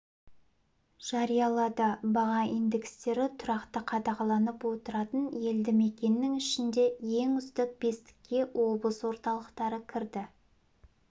жариялады баға индекстері тұрақты қадағаланып отыратын елді мекеннің ішінде ең үздік бестікке облыс орталықтары кірді